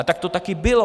A tak to taky bylo.